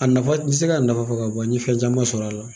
A nafa n tɛ se k'a nafa fɔ ka bɔ n ye fɛn caman sɔrɔ a la